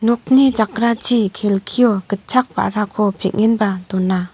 nokni jakrachi kelkio gitchak ba·rako peng·enba dona.